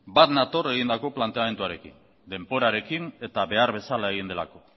bat nator egindako planteamenduarekin denborarekin eta behar bezala egin delako